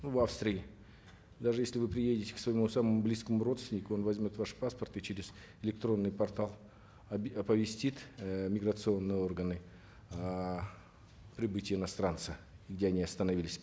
ну в австрии даже если вы приедете к своему самому близкому родственнику он возьмет ваш паспорт и через электронный портал оповестит э миграционные органы о прибытии иностранца где они остановились